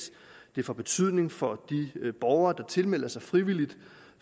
det får betydning for de borgere der tilmelder sig frivilligt